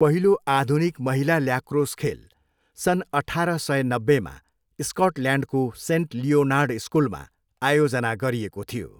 पहिलो आधुनिक महिला ल्याक्रोस खेल सन् अठार सय नब्बेमा स्कटल्यान्डको सेन्ट लियोनार्ड स्कुलमा आयोजना गरिएको थियो।